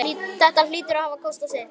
Þetta hlýtur að hafa kostað sitt!